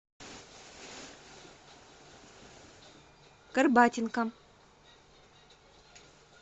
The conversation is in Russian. горбатенко